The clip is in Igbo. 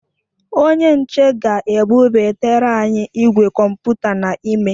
Onye nche ga ebụbatara anyi igwe kọmputa n'ime